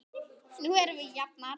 Nú erum við jafnir.